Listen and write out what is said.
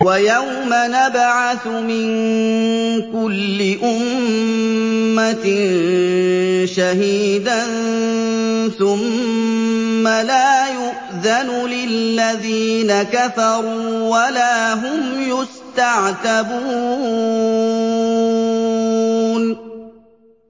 وَيَوْمَ نَبْعَثُ مِن كُلِّ أُمَّةٍ شَهِيدًا ثُمَّ لَا يُؤْذَنُ لِلَّذِينَ كَفَرُوا وَلَا هُمْ يُسْتَعْتَبُونَ